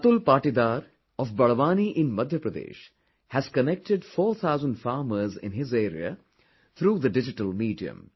Atul Patidar of Barwani in Madhya Pradesh has connected four thousand farmers in his area through the digital medium